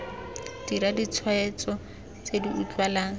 dira ditshwetso tse di utlwalang